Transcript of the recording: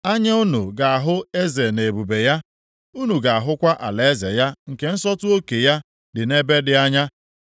Anya unu ga-ahụ eze nʼebube ya; unu ga-ahụkwa alaeze ya nke nsọtụ oke ya dị nʼebe dị anya.